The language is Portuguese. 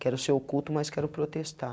Quero ser oculto, mas quero protestar.